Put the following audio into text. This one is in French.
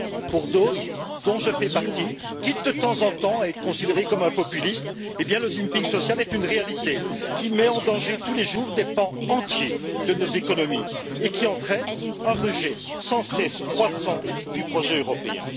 Pour d'autres, dont je fais partie, quitte, de temps en temps, à être considéré comme un populiste, eh bien le dumping social est une réalité, qui met en danger tous les jours des pans entiers de nos économies et qui entraîne un rejet sans cesse croissant du projet européen.